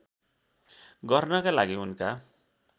गर्नका लागि उनका